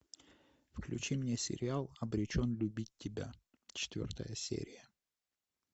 включи мне сериал обречен любить тебя четвертая серия